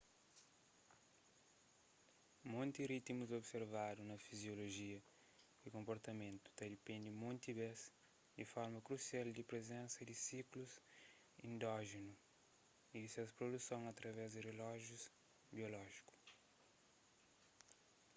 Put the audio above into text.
monti ritimus observadu na fiziolojia y konprtamentu ta dipende monti bês di forma krusial di prizensa di siklus endójenu y di ses produson através di relójius biolójiku